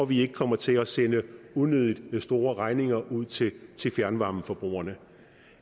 vi ikke kommer til at sende unødig store regninger ud til fjernvarmeforbrugerne